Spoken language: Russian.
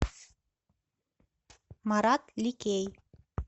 марат ликей